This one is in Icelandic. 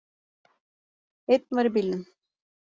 Einn var í bílnum